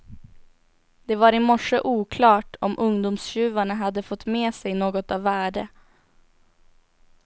Det var i morse oklart om ungdomstjuvarna hade fått med sig något av värde.